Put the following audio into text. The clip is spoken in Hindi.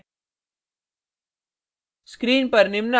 और enter दबाएँ